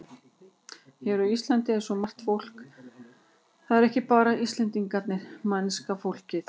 Hér á Íslandi er svo margt fólk, það eru ekki bara Íslendingarnir, mennska fólkið.